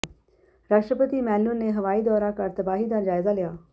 ਰਾਸ਼ਟਰਪਤੀ ਮੈਨਿਉਲ ਨੇ ਹਵਾਈ ਦੌਰਾ ਕਰ ਤਬਾਹੀ ਦਾ ਜਾਇਜ਼ਾ ਲਿਆ